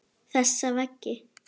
Þessa veggi.